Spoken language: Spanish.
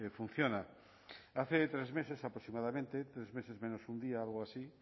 funciona hace tres meses aproximadamente tres meses menos un día algo así